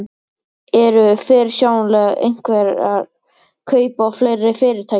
Eru fyrirsjáanleg einhver kaup á fleiri fyrirtækjum?